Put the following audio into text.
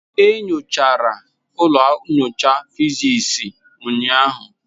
E nyochara ụlọ nyocha physics ụnyahụ.